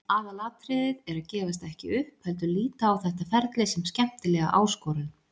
Aðalatriðið er að gefast ekki upp heldur líta á þetta ferli sem skemmtilega áskorun.